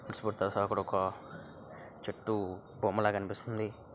తరహా అక్కడ ఒక చెట్టు బొమ్మ ల కనిపిస్తుంది.